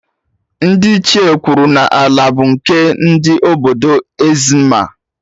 Ndị Ichie kwuru n'ala bụ nke ndị obodo ezzmma